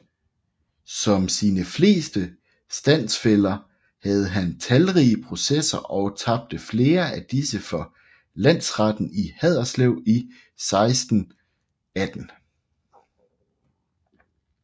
Som sine fleste standsfæller havde han talrige processer og tabte flere af disse for Landretten i Haderslev 1618